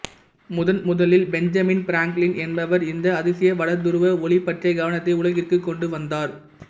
முதன் முதலில் Benjamin Franklin என்பவர் இந்த அதிசய வடதுருவ ஒளி பற்றிய கவனத்தை உலகிற்குக் கொண்டு வந்தார்